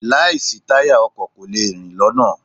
Láì sí táyà, ọkọ̀ kò lè rìn lọ́nà.